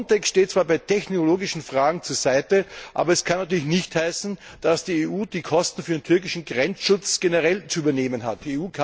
Frontex steht zwar bei technologischen Fragen zur Seite, aber das kann natürlich nicht heißen, dass die EU die Kosten für den türkischen Grenzschutz generell zu übernehmen hat.